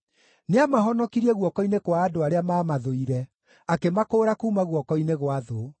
Nĩamahonokirie guoko-inĩ kwa andũ arĩa maamathũire; akĩmakũũra kuuma guoko-inĩ gwa thũ.